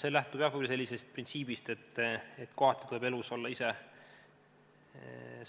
See lähtub, jah, sellisest printsiibist, et kohati tuleb elus olla ise